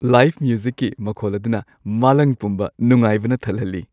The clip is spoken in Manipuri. ꯂꯥꯏꯚ ꯃ꯭ꯌꯨꯖꯤꯛꯀꯤ ꯃꯈꯣꯜ ꯑꯗꯨꯅ ꯃꯥꯂꯪ ꯄꯨꯝꯕ ꯅꯨꯡꯉꯥꯏꯕꯅ ꯊꯜꯍꯜꯂꯤ ꯫